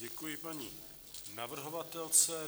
Děkuji paní navrhovatelce.